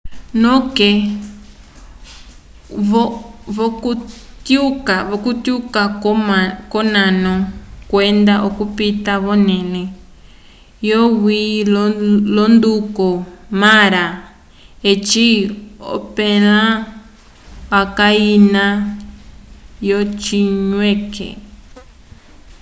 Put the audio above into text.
noke vokutyuka konano kwenda okupita vonele yo lwi londuko mara eci ompela yaca ina yo cinwike